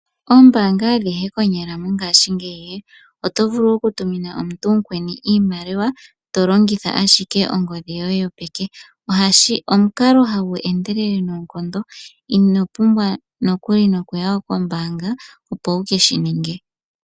Oombaanga adhihe konyala mongaashingeyi oto vulu oku tumina omuntu omukweni iimaliwa, to longitha ashike ongodhi yoye yopeke. Omukalo hagu endelele noonkondo, ino pumbwa nokuli nokuya kombaanga opo wu keshi ninge.